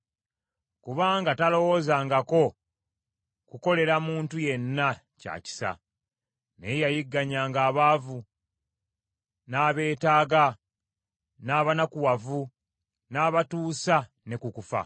Kubanga talowoozangako kukolera muntu yenna kya kisa; naye yayigganyanga abaavu, n’abeetaaga, n’abanakuwavu n’abatuusa ne ku kufa.